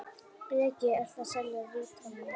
Breki: Ertu að selja rítalín?